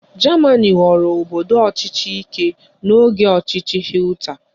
Germani ghọrọ obodo ọchịchị aka ike n'oge ọchịchị Hitler